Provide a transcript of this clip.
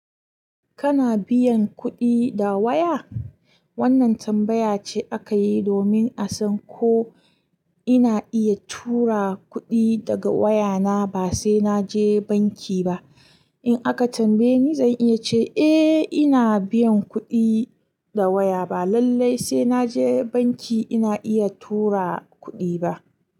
Kana biyan kuɗi da waya? Wannan tambaya ce aka yi domin a san ko ina iya tura kuɗi daga wayana ba sai na je banki ba. In aka tambaye ni, zan iya ce, "Eh, ina biyan kuɗi da waya ba lallai sai na je banki ina iya tura kuɗi ba."